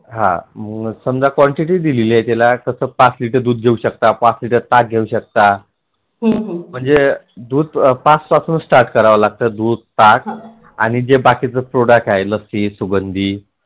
हा समजा quantity दिली आहे त्याला कस पाच liter दूध घेऊ शकता पाच लिटर ताक घेऊ शकता म्हणजे दूध पाच पासून start कराव लागत दूध ताक आणि जे बाकीचे product लस्सीसुगंधी